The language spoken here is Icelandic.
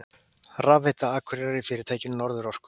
Rafveitu Akureyrar í fyrirtækinu Norðurorku.